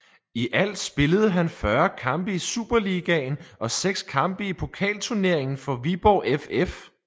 I alt spillede han 40 kampe i Superligaen og 6 kampe i Pokalturneringen for Viborg FF